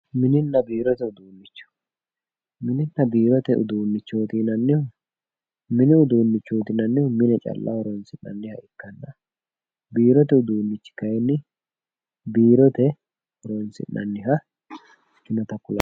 mininna biirote uduunnicho, mininna biirote uduunnichooti yinannihu mini uduunnichooti yinannihu mine calla hee'rannoho, biirote uduunnichooti yinannihu kayiinni biirote horonsi'nannita kulannoho